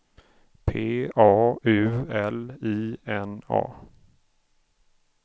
P A U L I N A